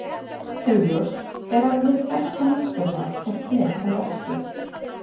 Augljóst er að hið sterka náttúruval er hér að verki.